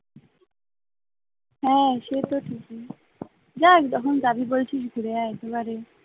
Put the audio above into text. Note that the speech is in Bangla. হ্যাঁ সে তো ঠিকই যা যখন যাবি বলছিস ঘুরে আয় একবারে